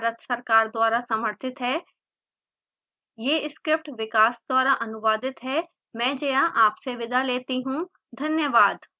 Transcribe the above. यह स्क्रिप्ट विकास द्वारा अनुवादित है मैं जया आपसे विदा लेती हूँ धन्यवाद